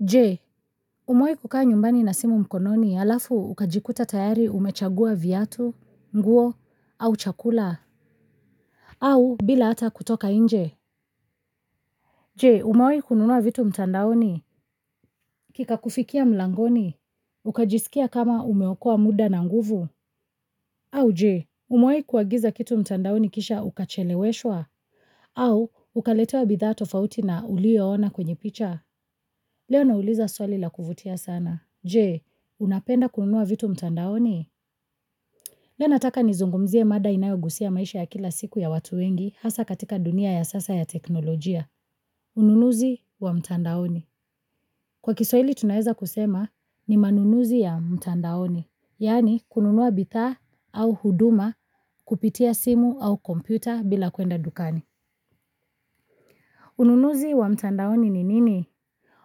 Je? Umewai kukaa nyumbani na simu mkononi alafu, ukajikuta tayari umechagua viatu, nguo, au chakula? Au, bila hata kutoka inje? Je? Umewai kununua vitu mtandaoni? Kika kufikia mlangoni? Ukajisikia kama umeokoa muda na nguvu? Au je umewahi kuagiza kitu mtandaoni kisha ukacheleweshwa? Au, ukaletewa bidhaa tofauti na uliyoona kwenye picha? Leo nauliza swali la kuvutia sana. Je, unapenda kunua vitu mtandaoni? Leo nataka nizungumzie mada inayogusia maisha ya kila siku ya watu wengi, hasa katika dunia ya sasa ya teknolojia. Ununuzi, wa mtandaoni. Kwa Kiswahili tunaweza kusema, ni manunuzi ya mtandaoni. Yaani, kununua bithaa, au huduma kupitia simu au kompyuta bila kuenda dukani. Ununuzi wa mtandaoni ni nini?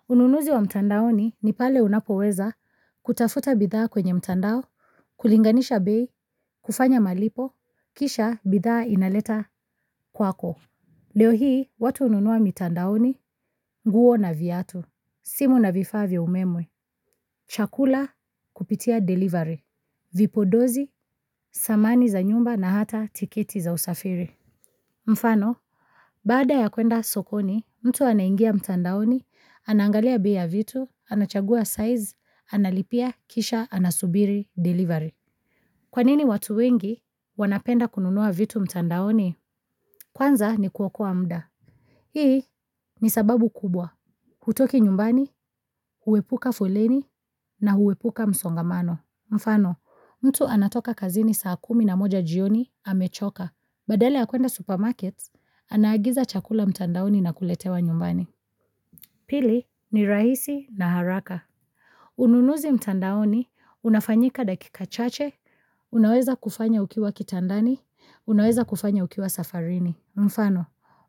Ununuzi wa mtandaoni, ni pale unapoweza, kutafuta bidhaa kwenye mtandao, kulinganisha bei, kufanya malipo, kisha, bidhaa inaleta kwako. Leo hii, watu ununua mitandaoni, nguo na viatu, simu na vifaa vya umemwe, chakula kupitia delivery, vipo dozi, samani za nyumba na hata tiketi za usafiri. Mfano, baada ya kwenda sokoni, mtu anaingia mtandaoni, anangalia bei ya vitu, anachagua size, analipia, kisha, anasubiri, delivery. Kwanini watu wengi, wanapenda kununua vitu mtandaoni? Kwanza ni kuwokoa mda. Hii ni sababu kubwa. Hutoki nyumbani, huwepuka foleni na huwepuka msongamano. Mfano, mtu anatoka kazini saa kumi na moja jioni, amechoka. Badala ya kuenda supermarkets, anaagiza chakula mtandaoni na kuletewa nyumbani. Pili ni rahisi na haraka. Ununuzi mtandaoni, unafanyika dakika chache, unaweza kufanya ukiwa kitandani, unaweza kufanya ukiwa safarini. Mfano,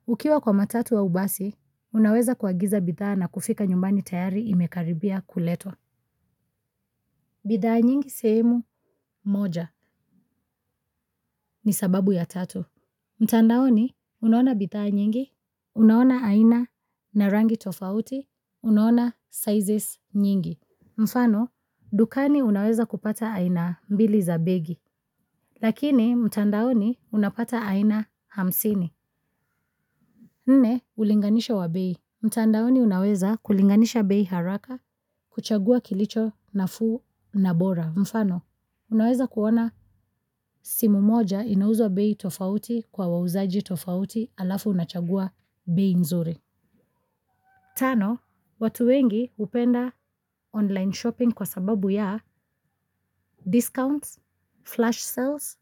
ukiwa kwa matatu au basi, unaweza kuagiza bidhaa na kufika nyumbani tayari imekaribia kuletwa. Bidhaa nyingi sehemu, moja, ni sababu ya tatu. Mtandaoni, huwa na bidhaa nyingi, unaona aina na rangi tofauti, unaona sizes nyingi. Mfano, dukani unaweza kupata aina mbili za begi. Lakini, mtandaoni, unapata aina hamsini. Nne, ulinganisho wa bei. Mtandaoni unaweza kulinganisha bei haraka, kuchagua kilicho nafuu na bora. Mfano, unaweza kuona simu moja, inauzwa bei tofauti kwa wauzaji tofauti, alafu unachagua bei nzuri. Tano, watu wengi, hupenda online shopping kwa sababu ya, discounts, flash sales,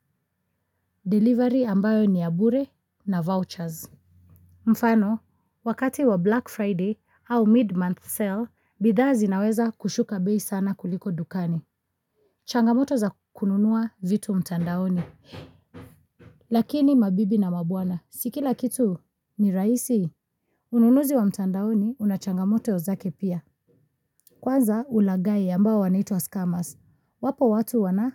delivery ambayo ni ya bure, na vouchers. Mfano, wakati wa Black Friday, au mid-month sale, bidhaa zinaweza kushuka bei sana kuliko dukani. Changamoto za kununua vitu mtandaoni. Lakini mabibi na mabwana, si kila kitu ni rahisi? Ununuzi wa mtandaoni, unachangamoto zake pia. Kwanza, ulaghai ambao wanaitwa skammers. Wapo watu wana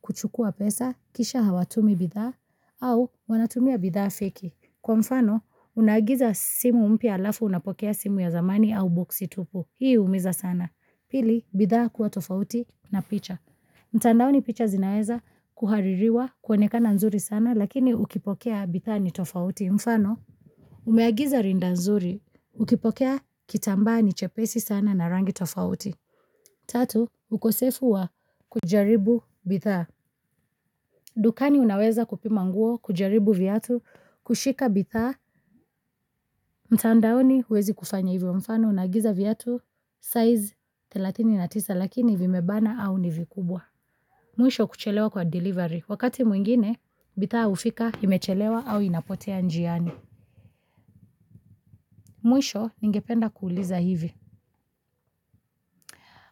kuchukua pesa, kisha hawatumi bidhaa au wanatumia bidhaa feki. Kwa mfano, unaagiza simu mpya alafu unapokea simu ya zamani au boxi tupu. Hii humiza sana. Pili, bidhaa kuwa tofauti na picha. Mtandaoni picha zinaweza kuhaririwa kuonekana nzuri sana, lakini, ukipokea bithaa ni tofauti mfano. Umeagiza rinda nzuri, ukipokea kitambaa ni chepesi sana na rangi tofauti. Tatu, ukosefu wa kujaribu bithaa. Dukani unaweza kupima nguo, kujaribu viatu, kushika bithaa. Mtandaoni huwezi kufanya hivyo mfano, unaagiza viatu, size thelathini na tisa lakini vimebana au nivikubwa. Mwisho kuchelewa kwa delivery, wakati mwingine, bithaa ufika imechelewa au inapotea njiani. Mwisho, ningependa kuuliza hivi.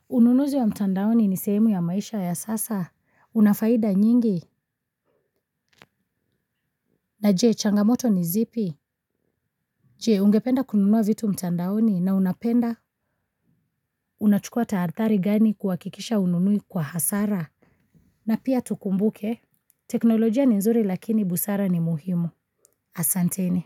Ununuzi wa mtandaoni ni sehemu ya maisha ya sasa? Unafaida nyingi? Na je, changamoto ni zipi? Je, ungependa kununua vitu mtandaoni? Na unapenda? Unachukua tahathari gani kuwakikisha hununui kwa hasara? Na pia tukumbuke, teknolojia ni nzuri lakini busara ni muhimu. Asanteni.